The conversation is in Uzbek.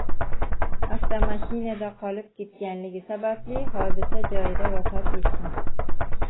avtomashinada qolib ketganligi sababli hodisa joyida vafot etgan.